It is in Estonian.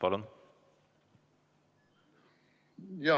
Palun!